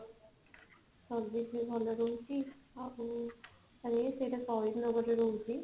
servicing ଭଲ ରହୁଛି ଆଉ ଖାଲି ସେଟା ତଳକୁ ରହୁଛି